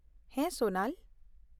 ᱦᱮᱸ, ᱥᱳᱱᱟᱞ ᱾